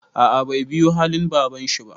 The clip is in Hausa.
A'a bai biyu halin babanshi ba.